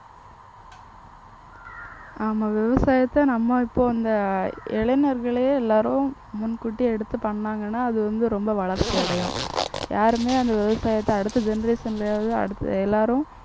ஆமா விவசாயத்தை நம்ம இப்போ இந்த இளைஞர்களே எல்லாரும் முன்கூட்டியே எடுத்து பண்ணாங்கன்னா அது வந்து ரொம்ப வளர்ச்சி அடையும். யாருமே அந்த விவசாயத்தை அடுத்த generation லயாவது அடுத்த எல்லாரும்